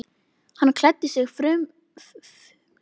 Hann klæddi sig fumlaust og fór fram til morgunverðar.